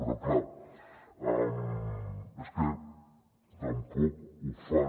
però és clar és que tampoc ho fan